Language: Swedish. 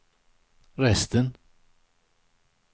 resten